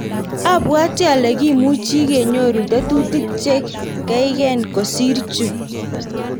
abwoti ale kimuchi kenyoru tetutik che keikeen kosir chu